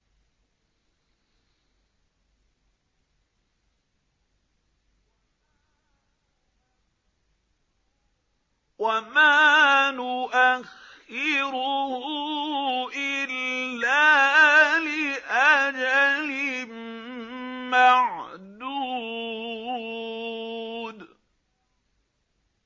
وَمَا نُؤَخِّرُهُ إِلَّا لِأَجَلٍ مَّعْدُودٍ